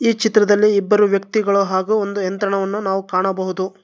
ಈ ಚಿತ್ರದಲ್ಲಿ ಇಬ್ಬರು ವ್ಯಕ್ತಿಗಳು ಹಾಗು ಒಂದು ಯಂತ್ರವನ್ನು ಕಾಣಬಹುದು.